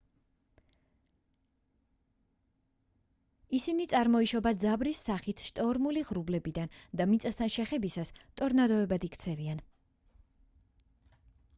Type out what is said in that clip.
ისინი წარმოიშობა ძაბრის სახით შტორმული ღრუბლებიდან და მიწასთან შეხებისას ტორნადოებად იქცევიან